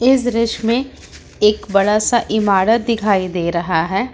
इस दृश्य मे एक बड़ा सा इमारत दिखाई दे रहा है।